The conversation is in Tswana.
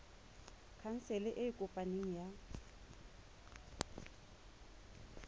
khansele e e kopaneng ya